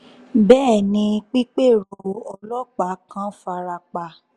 bẹ́ẹ̀ ni pípérò ọlọ́pàá kan fara pa